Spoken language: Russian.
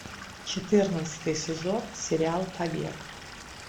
четырнадцатый сезон сериал побег